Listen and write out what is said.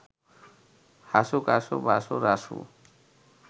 Hasu, Kasu, Basu, Rasu